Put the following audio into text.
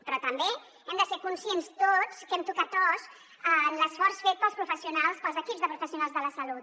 però també hem de ser conscients tots que hem tocat os en l’esforç fet pels professionals pels equips de professionals de la salut